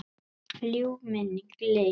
Ljúf minning lifir.